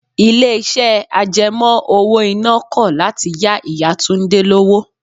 Ilé iṣẹ́ àjẹmó owó iná kọ̀ láti yá Ìyá Túndé lówó.